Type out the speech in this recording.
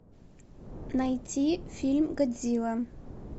найти фильм годзилла